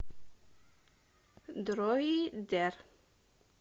дроидер